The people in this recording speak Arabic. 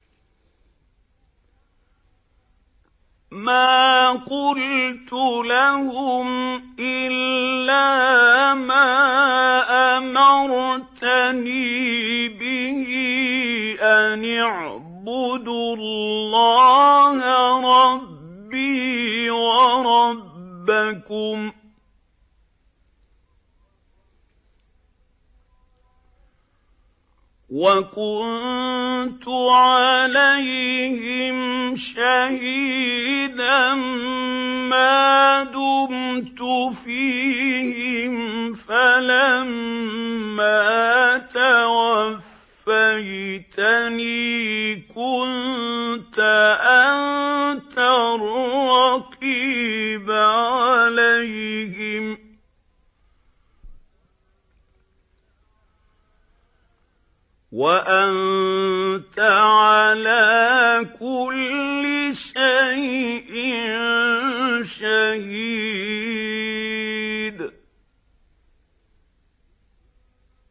مَا قُلْتُ لَهُمْ إِلَّا مَا أَمَرْتَنِي بِهِ أَنِ اعْبُدُوا اللَّهَ رَبِّي وَرَبَّكُمْ ۚ وَكُنتُ عَلَيْهِمْ شَهِيدًا مَّا دُمْتُ فِيهِمْ ۖ فَلَمَّا تَوَفَّيْتَنِي كُنتَ أَنتَ الرَّقِيبَ عَلَيْهِمْ ۚ وَأَنتَ عَلَىٰ كُلِّ شَيْءٍ شَهِيدٌ